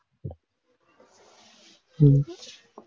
உம்